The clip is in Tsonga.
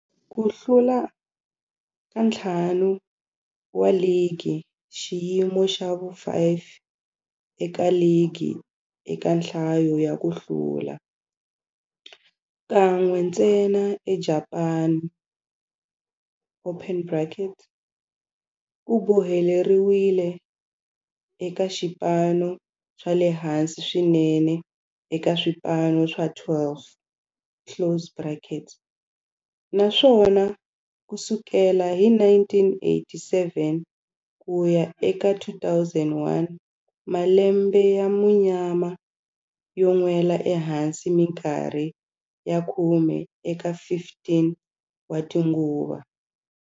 Ku hlula ka ntlhanu wa ligi, xiyimo xa vu-5 eka ligi eka nhlayo ya ku hlula, kan'we ntsena eJapani, ku boheleriwile eka swipano swa le hansi swinene eka swipano swa 12, naswona ku sukela hi 1987 ku ya eka 2001, malembe ya munyama yo nwela ehansi minkarhi ya khume eka 15 tinguva.